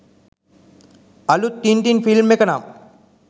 අලුත් Tintin film එක නම්